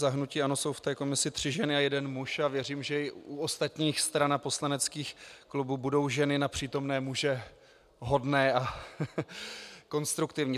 Za hnutí ANO jsou v komisi tři ženy a jeden muž a věřím, že i u ostatních stran a poslaneckých klubů budou ženy na přítomné muže hodné a konstruktivní.